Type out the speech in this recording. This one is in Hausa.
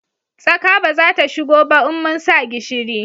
Tsaka ba za ta shigo ba in mun sa gishiri